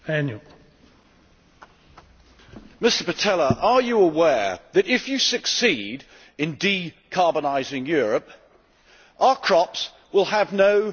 Mr Pitella, are you aware that if you succeed in decarbonising Europe, our crops will have no natural gas to grow from?